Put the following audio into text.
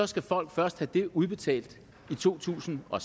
skal folk først have det udbetalt i to tusind og